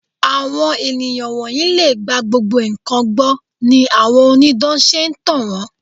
Àwọn ènìyàn wọ̀nyí lè gba gbogbo nǹkan gbọ́ ni àwọn onídán ṣe ń tàn wón.